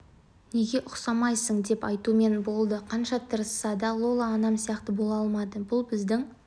неге ұқсамайсың деп айтумен болды қанша тырысса да лола анам сияқты бола алмады бұл біздің